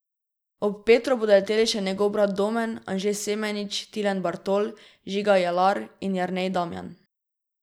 Ob Petru bodo leteli še njegov brat Domen, Anže Semenič, Tilen Bartol, Žiga Jelar in Jernej Damjan.